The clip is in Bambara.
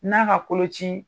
N'a ka kolon ci